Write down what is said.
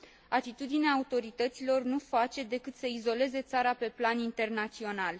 Atitudinea autorităților nu face decât să izoleze țara pe plan internațional.